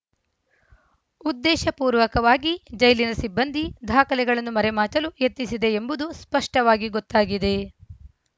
ಉದ್ದೇಶಪೂರ್ವಕವಾಗಿ ಜೈಲಿನ ಸಿಬ್ಬಂದಿ ದಾಖಲೆಗಳನ್ನು ಮರೆಮಾಚಲು ಯತ್ನಿಸಿದೆ ಎಂಬುದು ಸ್ಪಷ್ಟವಾಗಿ ಗೊತ್ತಾಗಿದೆ